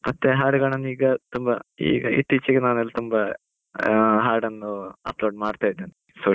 ಮತ್ತೆ ಹಾಡುಗಳನ್ನು ಈಗ ತುಂಬಾ ಮತ್ತೆ ಇತ್ತೀಚಿಗೆ ನಾನು ತುಂಬಾ ಹಾಡನ್ನು upload ಮಾಡ್ತಾ ಇದ್ದೇನೆ, social media .